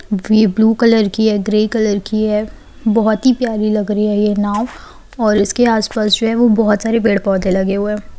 यह blue colour की है ग्रे कलर की है और बहुत ही प्यारी लग रही है ये नाव और उसके आस-पास जो है बहोत सारे पेड़-पौधे लगे हुए हैं।